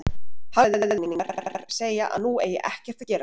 Hagfræðikenningarnar segja að nú eigi ekkert að gera.